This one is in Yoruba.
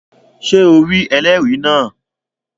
Ṣé o rí ẹlẹ́rìí náà?